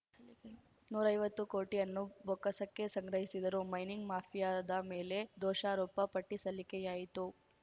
ನೂರೈವತ್ತು ಕೋಟಿ ಅನ್ನು ಬೊಕ್ಕಸಕ್ಕೆ ಸಂಗ್ರಹಿಸಿದರು ಮೈನಿಂಗ್‌ ಮಾಫಿಯಾದ ಮೇಲೆ ದೋಷಾರೋಪ ಪಟ್ಟಿಸಲ್ಲಿಕೆಯಾಯಿತು